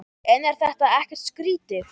En er þetta ekkert skrýtið?